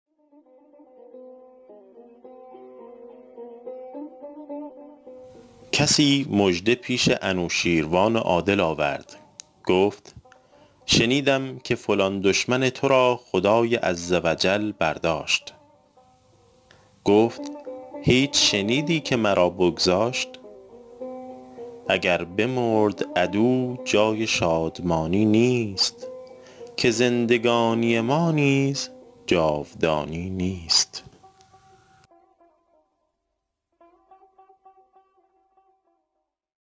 کسی مژده پیش انوشیروان عادل آورد گفت شنیدم که فلان دشمن تو را خدای عز و جل برداشت گفت هیچ شنیدی که مرا بگذاشت اگر بمرد عدو جای شادمانی نیست که زندگانی ما نیز جاودانی نیست